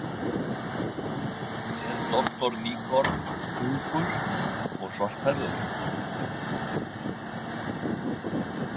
Er doktor Nygaard ungur og svarthærður?